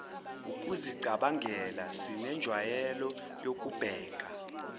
ukuzicabangela sinenjwayelo yokubheka